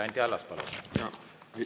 Anti Allas, palun!